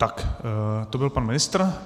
Tak to byl pan ministr.